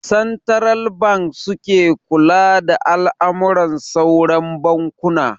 Santiral banki suke kula da al'amuran sauran bankuna